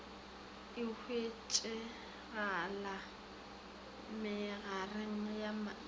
e hwetšegala mehlareng ya menoto